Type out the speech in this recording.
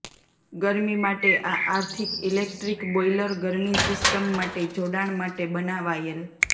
ગરમી માટે આ આર્થિક ઇલેક્ટ્રિક બોઈલર ગરમી સિસ્ટમ માટે જોડાણ માટે બનાવાયેલ